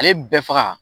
Ale bɛɛ faga